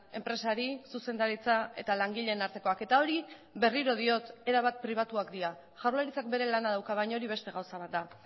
enpresari zuzendaritza eta langileen artekoak eta hori berriro diot erabat pribatuak dira jaurlaritzak bere lana dauka baina hori beste gauza bat da